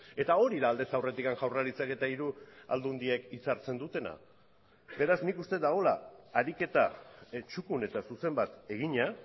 eta hori da aldez aurretik jaurlaritzak eta hiru aldundiek itzartzen dutena beraz nik uste dagoela ariketa txukun eta zuzen bat egina